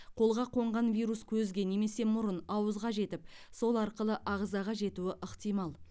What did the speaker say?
қолға қонған вирус көзге немесе мұрын ауызға жетіп сол арқылы ағзаға жетуі ықтимал